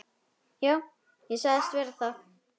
Já, ég sagðist vera það.